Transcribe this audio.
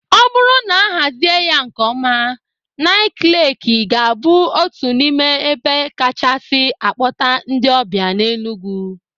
O bụrụ na a hazie ya nkeọma, Ńịké Leekị ga-abụ otu n'ime ebe kachasị a kpọta ndị ọbịa n'Enugwu.